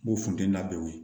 N ko funteni na o ye